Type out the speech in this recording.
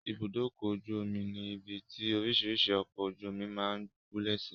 Ibùdókọ̀-ojú-omi ni ibi tí orísìírísìí ọkọ̀-ojú-omi máa ń gúlẹ̀ sí.